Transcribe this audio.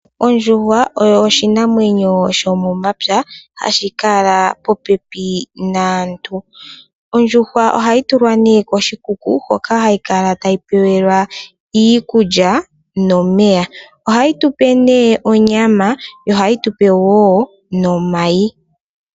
Ondjuhwa oyo oshinamwenyo shomomapya hashi kala popepi naantu. Ondjuhwa ohayi tulwa nee koshikuku hoka hayi kala tayi pewelwa iikulya nomeya. Ohayi tupe nee onyama, yo ohayi tupe wo nomayi.